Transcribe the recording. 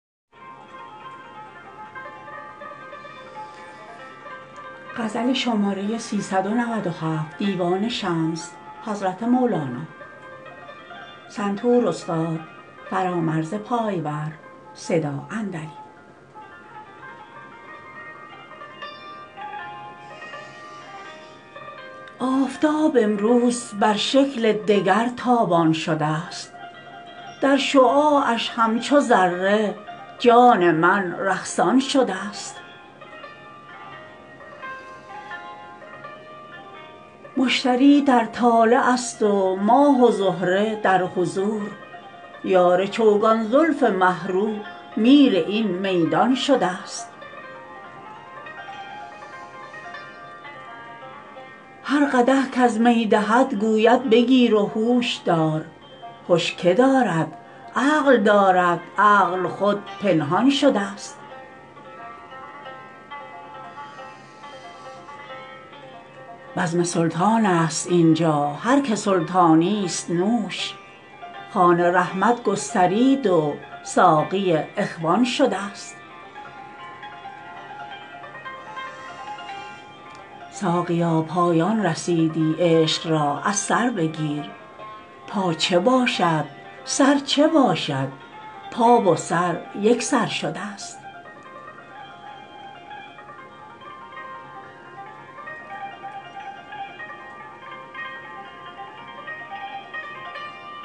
آفتاب امروز بر شکل دگر تابان شده ست در شعاعش همچو ذره جان من رقصان شده ست مشتری در طالع است و ماه و زهره در حضور یار چوگان زلف مه رو میر این میدان شده ست هر قدح کز می دهد گوید بگیر و هوش دار هش که دارد عقل دارد عقل خود پنهان شده ست بزم سلطان است این جا هر که سلطانی است نوش خوان رحمت گسترید و ساقی اخوان شده ست ساقیا پایان رسیدی عشق را از سر بگیر پا چه باشد سر چه باشد پا و سر یک سان شده ست